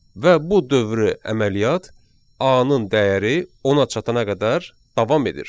Və bu dövrü əməliyyat A-nın dəyəri 10-a çatana qədər davam edir.